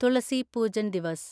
Thulasi Pujan Diva's